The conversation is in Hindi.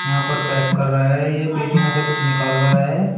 यहां पर पैक कर रहा है यह पेटी में से कुछ निकाल रहा है।